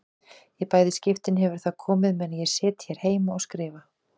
Í bæði skiptin hefur það komið meðan ég sit hér heima og skrifa.